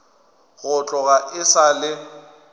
go tloga e sa le